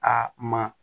Aa ma